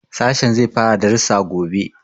Sashen zai fara darussa gobe.